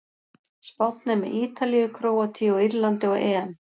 Spánn er með Ítalíu, Króatíu og Írlandi á EM.